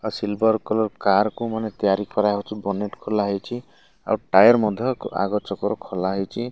ଆ silver colour car କୁ ମନେ ତିଆରି କରାହୋଉଚି ବର୍ନେଟ୍ ଖୋଲା ହେଇଚି ଆଉ ଟାୟାର ମଧ୍ୟ ଆଗ ଚକର ଖୋଲା ହେଇଚି।